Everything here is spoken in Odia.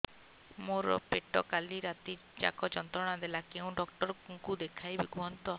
ମୋର ପେଟ କାଲି ରାତି ଯାକ ଯନ୍ତ୍ରଣା ଦେଲା କେଉଁ ଡକ୍ଟର ଙ୍କୁ ଦେଖାଇବି କୁହନ୍ତ